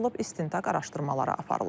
istintaq araşdırmaları aparılır.